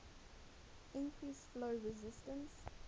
increase flow resistance